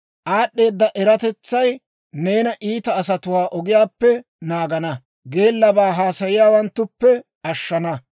Aad'd'eeda eratetsay neena iita asatuwaa ogiyaappe naagana; geellabaa haasayiyaawanttuppe ashshana.